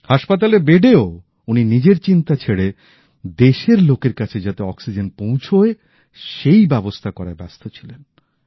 হাসপাতেলের বেডেও উনি নিজের চিন্তা ছেড়ে দেশের লোকের কাছে যাতে অক্সিজেন পৌঁছয় সেই ব্যবস্থা করায় ব্যস্ত ছিলেন